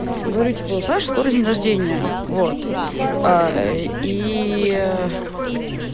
говорю типа у саши скоро день рождения вот ээ ии